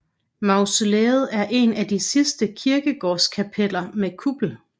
Mausoleet er et af de sidste kirkegårdskapeller med kuppel